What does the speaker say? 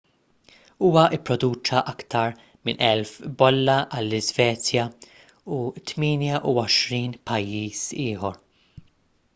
huwa pproduċa aktar minn 1,000 bolla għall-iżvezja u 28 pajjiż ieħor